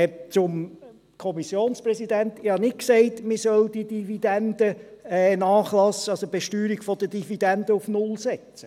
Zum Kommissionspräsidenten: Ich habe nicht gesagt, man solle die Dividenden nachlassen, also die Besteuerung der Dividenden auf null setzen.